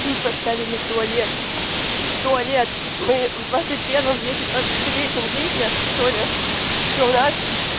тут поставили туалет туалет мы в двадцать первом веке двадцать третьем веке что-ли что у нас